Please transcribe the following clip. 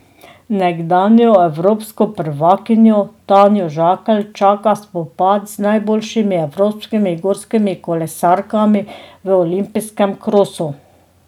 Nekdanjo evropsko prvakinjo Tanjo Žakelj čaka spopad z najboljšimi evropskimi gorskimi kolesarkami v olimpijskem krosu.